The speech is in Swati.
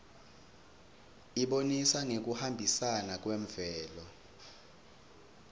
ibonisa ngekuhambisana kwemvelo